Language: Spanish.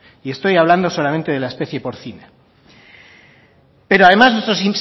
y estoy hablando solamente de la especie porcina pero además nuestro